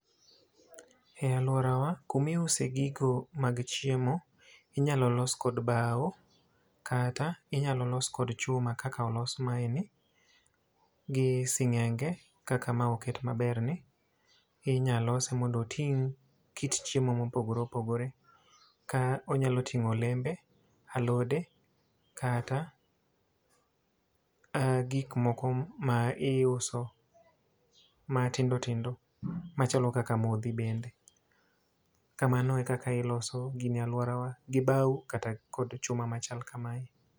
E alworawa, kuma iuso gigo mag chiemo, inyalo los kod bao, kata inyalo los kod chuma kaka olos mae ni, gi singénge, kaka mae oket maber ni. Inya lose mondo oting' kit chiemo mopogore opogore. Ka onyalo tingó olembe, alode, kata gik moko ma iuso matindo tindo, machalo kaka modhi bende. Kamano e kaka iloso gini e alworawa. Gi bao kata kod chuma machal kamae.